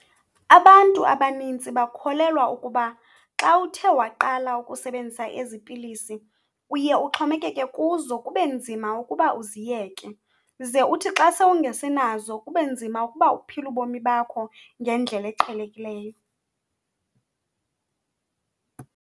Abantu abanintsi bakholelwa ukuba xa uthe waqala ukusebenzisa ezi pilisi uye uxhomekeke kuzo kube nzima ukuba uziyeke. Ze uthi xa sewungasenazo kube nzima ukuba uphile ubomi bakho ngendlela eqhelekileyo.